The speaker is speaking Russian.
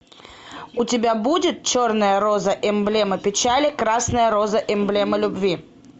у тебя будет черная роза эмблема печали красная роза эмблема любви